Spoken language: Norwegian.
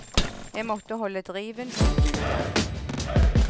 Jeg måtte holde driven og suget.